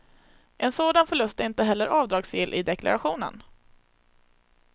En sådan förlust är inte heller avdragsgill i deklarationen.